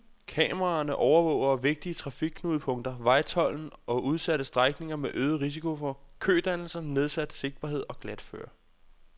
Kameraerne overvåger vigtige trafikknudepunkter, vejtolden og udsatte strækninger med øget risiko for kødannelser, nedsat sigtbarhed og glatføre.